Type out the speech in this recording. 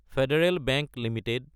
federal Bank Ltd